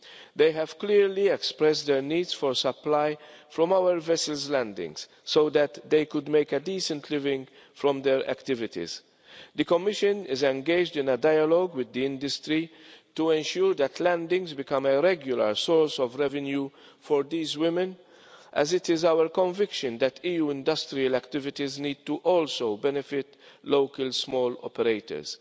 They have clearly expressed their needs for a supply from our vessels' landings so that they could make a decent living from their activities. The Commission is engaged in a dialogue with the industry to ensure that landings become a regular source of revenue for these women, as it is our conviction that EU industrial activities also need to benefit local small operators.